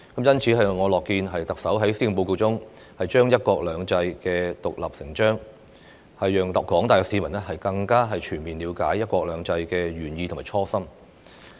因此，我樂見特首在施政報告中，將"一國兩制"獨立成章，讓廣大市民更加全面了解"一國兩制"的原意和初心。